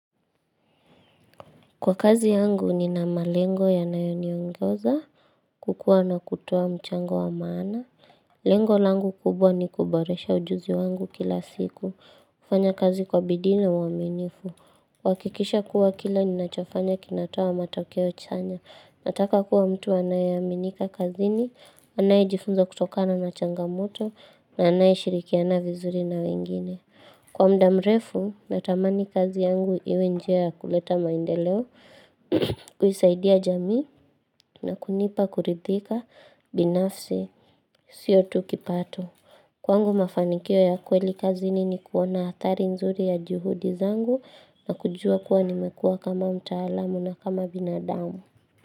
Kwa kazi yangu ni na malengo yanayoniongoza, kukua na kutoa mchango wa maana. Lengo langu kubwa ni kuboresha ujuzi wangu kila siku. Kufanya kazi kwa bidii na uaminifu. Kuhakikisha kuwa kila ninachofanya kinatoa matokeo chanya. Nataka kuwa mtu anayaminika kazini, anayejifunza kutokana na changamoto, na anayeshirikiana vizuri na wengine. Kwa mda mrefu, natamani kazi yangu iwe njia kuleta maendeleo. Kuisaidia jamii na kunipa kuridhika binafsi Sio tu kipato Kwangu mafanikio ya kweli kazini ni kuona athari nzuri ya juhudi zangu na kujua kuwa nimekua kama mtaalamu na kama binadamu.